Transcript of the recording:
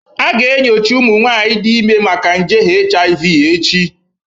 A ga-enyocha ụmụ nwanyị dị ime maka nje HIV echi